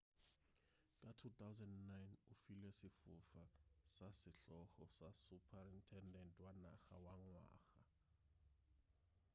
ka 2009 o filwe sefoka sa sehlogo sa suprutendente wa naga wa ngwaga